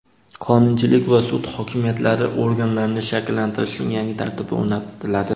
qonunchilik va sud hokimiyatlari organlarini shakllantirishning yangi tartibi o‘rnatiladi.